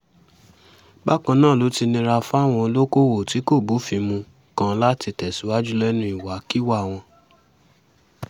bákan náà ló ti nira fáwọn olókoòwò tí kò bófin mu kan láti tẹ̀síwájú lẹ́nu ìwàkiwà wọn